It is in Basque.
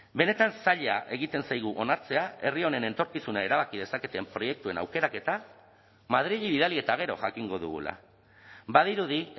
benetan zaila egiten zaigu onartzea herri honen etorkizuna erabaki dezaketen proiektuen aukeraketa madrili bidali eta gero jakingo dugula badirudi